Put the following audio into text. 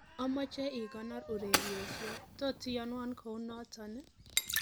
amoje igonor ureryosyet tot iyoywon kounoton ii